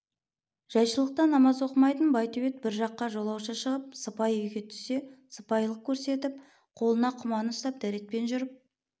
жайшылықта намаз оқымайтын байтөбет бір жаққа жолаушы шығып сыпайы үйге түссе сыпайылық көрсетіп қолына құман ұстап дәретпен жүріп